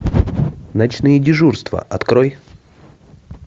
ночные дежурства открой